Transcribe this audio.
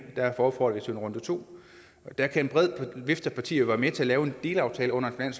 derfor får vi så en runde to og der kan en bred vifte af partier jo være med til at lave en delaftale under en